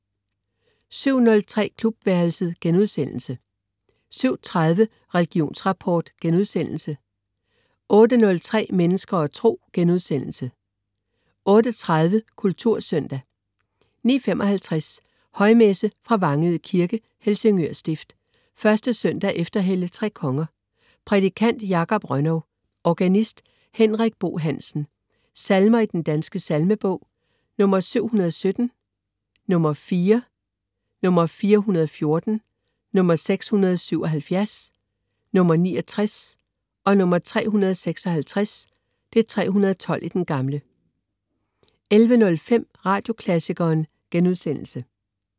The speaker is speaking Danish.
07.03 Klubværelset* 07.30 Religionsrapport* 08.03 Mennesker og Tro* 08.30 Kultursøndag 09.55 Højmesse. fra Vangede Kirke. Helsingør Stift. 1. søndag efter Hellig tre Konger. Prædikant: Jakob Rönnow. Organist: Henrik Bo Hansen. Salmer i Den Danske Salmebog: 717, 4 (4), 414, 677, 69, 356 (312) 11.05 Radioklassikeren*